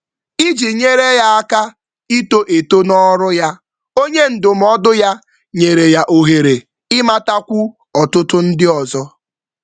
Onye ndụmọdụ kpọrọ ya na ndị kọntaktị ọhụrụ maka nyocha ụzọ ọrụ ga-ekwe omume.